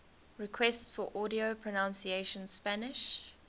requests for audio pronunciation spanish